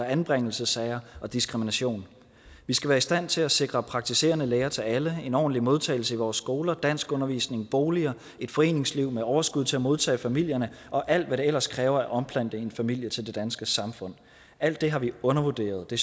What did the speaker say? anbringelsessager og diskrimination vi skal være i stand til at sikre praktiserende læger til alle en ordentlig modtagelse i vores skoler danskundervisning boliger et foreningsliv med overskud til at modtage familierne og alt hvad det ellers kræver at omplante en familie til det danske samfund alt det har vi undervurderet det